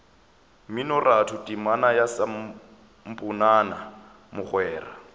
mminoratho temana ya samponana mogwera